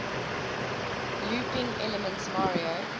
looping elements mario